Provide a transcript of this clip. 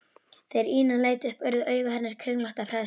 Þegar Ína leit upp urðu augu hennar kringlótt af hræðslu.